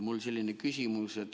Mul on selline küsimus.